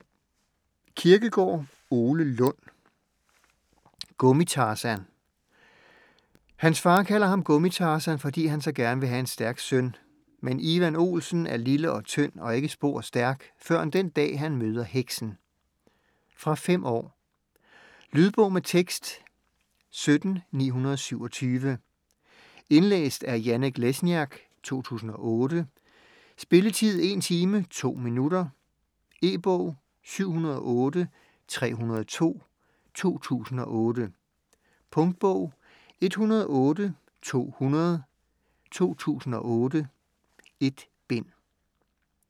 Kirkegaard, Ole Lund: Gummi-Tarzan Hans far kalder ham Gummi-Tarzan, fordi han så gerne vil have en stærk søn, men Ivan Olsen er lille og tynd og ikke spor stærk, førend den dag, han møder heksen. Fra 5 år. Lydbog med tekst 17927 Indlæst af Janek Lesniak, 2008. Spilletid: 1 timer, 2 minutter. E-bog 708302 2008. Punktbog 108200 2008. 1 bind.